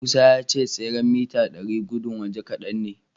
Musa ya ce tseren mita ɗari gudun waje kadan ne.